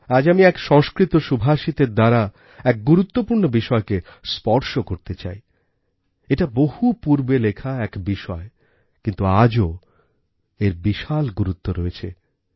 আজ আমি এক সংস্কৃত সুভাষিতের দ্বারা এক গুরুত্বপূর্ণ বিষয়কে স্পর্শ করতে চাই এটা বহু পূর্বে লেখা এক বিষয় কিন্তু আজও এর বিশালগুরুত্ব রয়েছে